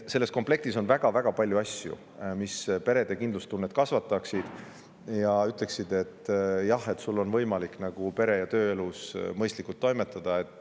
Selles komplektis on väga-väga palju asju, mis perede kindlustunnet kasvataksid, nii et inimestel oleks võimalik pere- ja tööelus mõistlikult toimetada.